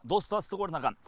достастық орнаған